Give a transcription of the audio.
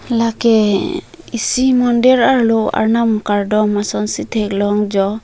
lake isi mondir arlo arnam kardom asonsi theklong jo.